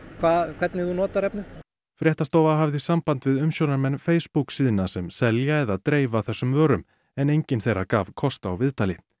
hvernig þú notar efnið fréttastofa hafði samband við umsjónarmenn Facebook síðna sem selja eða dreifa þessum vörum en enginn þeirra gaf kost á viðtali